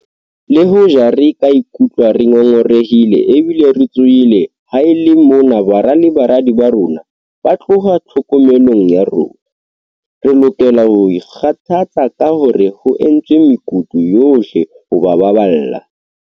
Le hoja re ka ikutlwa re ngo ngorehile ebile re tshohile ha e le mona bara le baradi ba rona ba tloha tlhokomelong ya rona, re lokela ho ikgothatsa ka hore ho entswe mekutu yohle ho ba baballa.